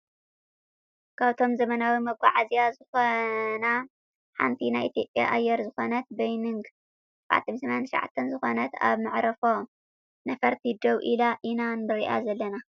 ካብቶም ዘመናዊ መጋዓዝያ ዝኮና ሓንቲ ናይ ኢትዮጽያ ኣየር ዝኮነት ቦይንግ 789 ዝኮነት ኣብ መዕርፎ ነፈርቲ ደው ኢላ ኢና ንሪኣ ዘለና ።